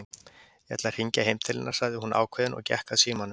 Ég ætla að hringja heim til hennar sagði hún ákveðin og gekk að símanum.